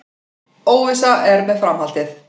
Óvissa er með framhaldið